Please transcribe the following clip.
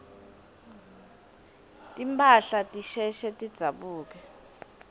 timphahla tisheshe tidzabuke